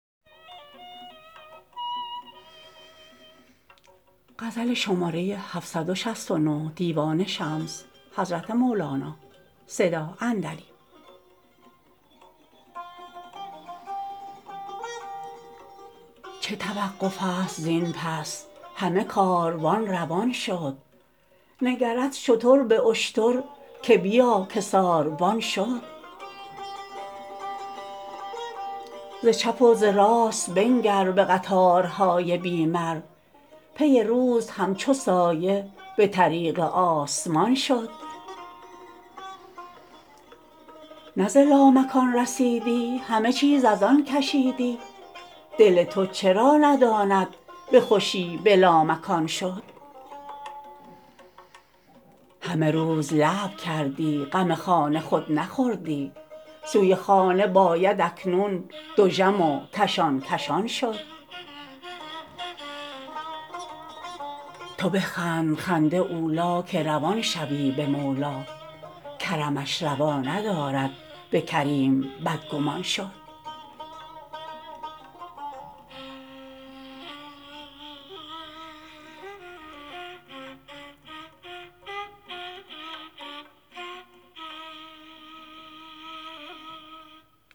چه توقفست زین پس همه کاروان روان شد نگرد شتر به اشتر که بیا که ساربان شد ز چپ و ز راست بنگر به قطارهای بی مر پی روز همچو سایه به طریق آسمان شد نه ز لامکان رسیدی همه چیز از آن کشیدی دل تو چرا نداند به خوشی به لامکان شد همه روز لعب کردی غم خانه خود نخوردی سوی خانه باید اکنون دژم و کشان کشان شد تو بخند خنده اولی که روان شوی به مولی کرمش روا ندارد به کریم بدگمان شد